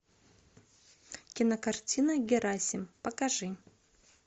кинокартина герасим покажи